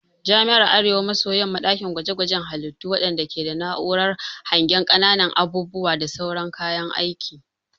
Jami'ar Arewa maso yamma dakin gwaje gwaje halittu wadanda ke da na'urar hangen kananun abubuwa da sauran kayan aiki.